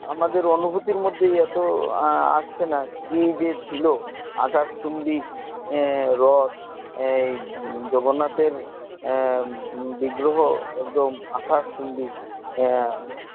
আমাদের অনুভূতির মধ্যেই এত আহ আসছে না কি যে ছিল আকাশচুম্বী আহ রথ আহ জগন্নাথ এর আহ বিগ্রহ একদম আকাশচুম্বী আহ